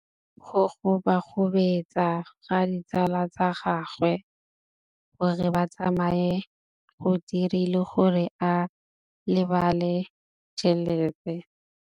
Go gobagobetsa ga ditsala tsa gagwe, gore ba tsamaye go dirile gore a lebale tšhelete.